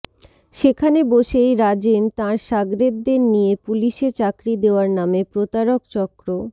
সেখানে বসেই রাজেন তাঁর সাগরেদদের নিয়ে পুলিশে চাকরি দেওয়ার নামে প্রতারক চক্র